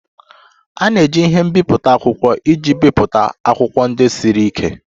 A na-eji ihe mbipụta akwụkwọ iji bipụta akwụkwọ ndị siri ike